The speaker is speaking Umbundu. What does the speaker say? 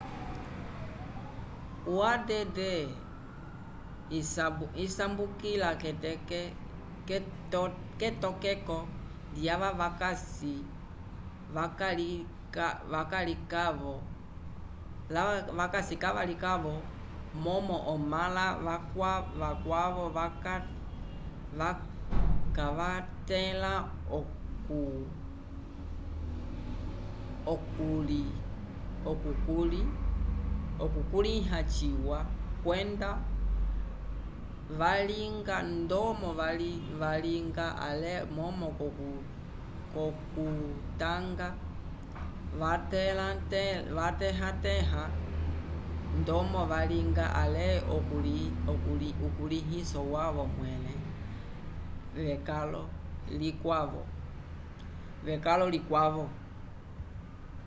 o add isambukila k'etokeko lyava vakasi kavalikavo momo omãla vakwavo kavatẽla okukulĩ ha ciwa kwenda valinga ndomo valinga ale momo k'okutanga vatẽha-tẽha ndomo valinga ale ukulĩhiso wavo mwẽle wekalo likwavo